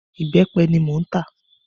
Ìbẹ́pẹ ni mò ń tà.